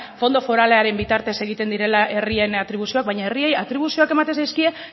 fondo foralaren bitartez egiten direla herrien atribuzioak baina herriei atribuzioak ematen zaizkie